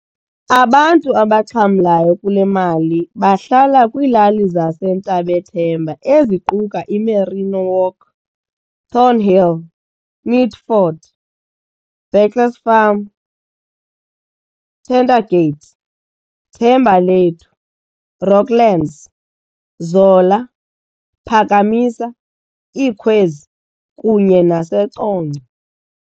Abantu abaxhamlayo kulemali bahlala kwilali zase Ntabethemba eziquka iMerino Walk, Thornhill, Mitford, Baclesfarm, Tentergate, Thembalethu, Rockland's, Zola, Phakamisa, Ikhwezi, kunye nase Congca